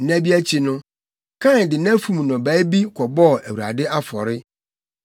Nna bi akyi no, Kain de nʼafum nnɔbae bi kɔbɔɔ Awurade afɔre.